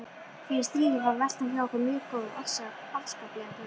Fyrir stríðið var veltan hjá okkur mjög góð, afskaplega góð.